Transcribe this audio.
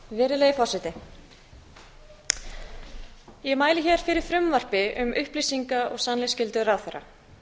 virðulegi forseti ég mæli hér fyrri frumvarpi um upplýsinga og sannleiksskyldu ráðherra